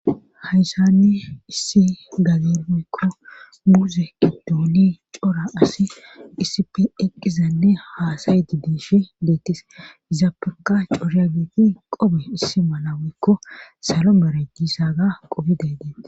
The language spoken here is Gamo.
hayssanne issi gagimeykko muuze qidooli cora asi isipi eqqizanne haasayeti diifi deettis izapurka coryageeti qobe issi malawikko salo marajjisaga qobiday deetti